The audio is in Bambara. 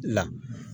Na